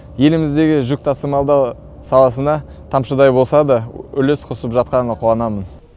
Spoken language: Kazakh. еліміздегі жүк тасымалдау саласына тамшыдай болса да үлес қосып жатқаныма қуанамын